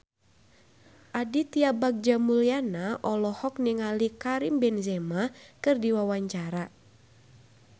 Aditya Bagja Mulyana olohok ningali Karim Benzema keur diwawancara